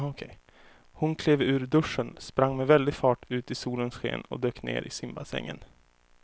Hon klev ur duschen, sprang med väldig fart ut i solens sken och dök ner i simbassängen.